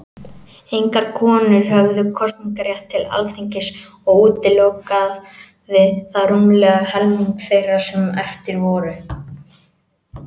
Engar konur höfðu kosningarétt til Alþingis, og útilokaði það rúmlega helming þeirra sem eftir voru.